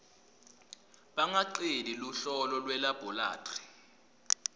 bangaceli luhlolo lwelabholathri